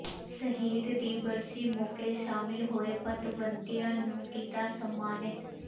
ਸ਼ਹੀਦ ਦੀ ਬਰਸੀ ਮੌਕੇ ਸ਼ਾਮਿਲ ਹੋਏ ਪਤਵੰਤਿਆਂ ਨੂੰ ਕੀਤਾ ਸਨਮਾਨਿਤ